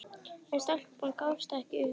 En stelpan gafst ekki upp.